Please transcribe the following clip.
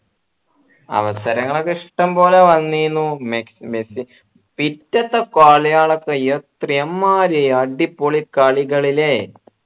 അവസരങ്ങളൊക്കെ ഇഷ്ടംപോലെ വന്നീന്നു മെ മെസ്സി പിറ്റത്തെ കളിയളൊക്കെ എമ്മാരി അടിപൊളി കളികള് ല്ലേ